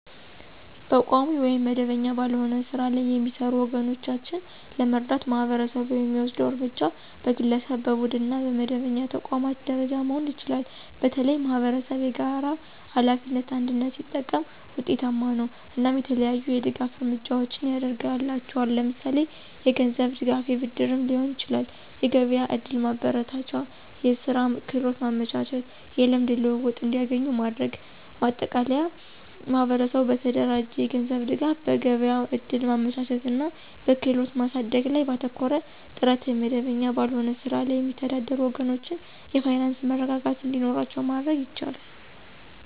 በቋሚ ወይም መደበኛ ባልሆነ ሥራ ላይ የሚሰሩ ወገኖቻችንን ለመርዳት ማህበረሰቡ የሚወስደው እርምጃ በግለሰብ፣ በቡድንና በመደበኛ ተቋማት ደረጃ መሆን ይችላል። በተለይም ማኅበረሰብ የጋራ ሀላፊነትን (አንድነት) ሲጠቀም ውጤታማ ነው። እናም የተለያዩ የድጋፍ እርምጃዎችን ያድርግላቸዋል ለምሳሌ የገንዝብ ድጋፍ የብድርም ሊሆን ይችላል። የገቢያ ዕድል ማመቻቸት፣ የስራ ክህሎት ማመቻቸት። የልምድ ልውውጥ እንዲገኙ ማድረግ። ማጠቃለያ ማህበረሰቡ በተደራጀ የገንዘብ ድጋፍ፣ በገበያ እድል ማመቻቸት እና በክህሎት ማሳደግ ላይ ባተኮረ ጥረት የመደበኛ ባልሆነ ስራ ላይ የሚተዳደሩ ወገኖቻችን የፋይናንስ መረጋጋት እንዲኖራቸው ማድረግ ይቻላል።